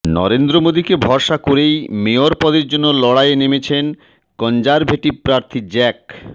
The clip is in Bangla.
নরেন্দ্র মোদীকে ভরসা করেই মেয়র পদের জন্য লড়াইয়ে নেমেছেন কনজারভেটিভ প্রার্থী জ্যাক